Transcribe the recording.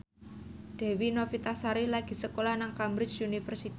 Dewi Novitasari lagi sekolah nang Cambridge University